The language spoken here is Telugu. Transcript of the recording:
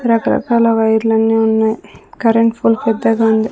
రకరకాల వైర్లు అన్ని ఉన్నాయి కరెంట్ ఫోల్ పెద్దగా ఉంది.